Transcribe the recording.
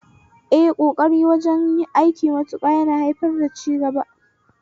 Ƙokari wajen aikin mutum na haifar masa da cigaba